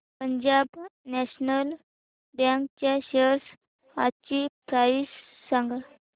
Punjab national bank च्या shares आजची price सांगा